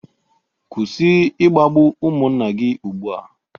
Kwụsị ịkpagbu ụmụnna gị ugbu a